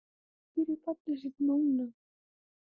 Hann er dálítið rauður um hvarmana.